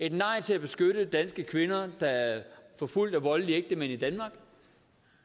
et nej til at beskytte danske kvinder der er forfulgt af voldelige ægtemænd i danmark